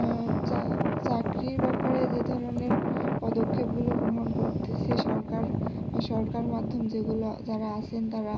উহ চাকরির ব্যাপারে যে ধরনের পদক্ষেপগুলো গ্রহন করতেসে সরকার সরকার মাধ্যম যেগুলো যারা আছেন তারা